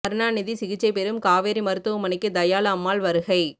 கருணாநிதி சிகிச்சை பெறும் காவேரி மருத்துவமனைக்கு தயாளு அம்மாள் வருகை